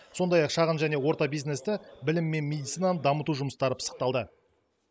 сондай ақ шағын және орта бизнесті білім мен медицинаны дамыту жұмыстары пысықталды